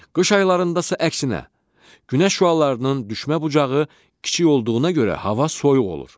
Qış aylarındasa əksinə, Günəş şüalarının düşmə bucağı kiçik olduğuna görə hava soyuq olur.